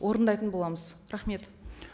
орындайтын боламыз рахмет